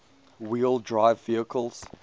wheel drive vehicles